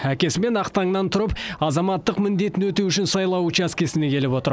әкесімен ақ таңнан тұрып азаматтық міндетін өтеу үшін сайлау учаскесіне келіп отыр